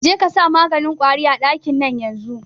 Jekasa maganin kwari a ɗakin nan yanzun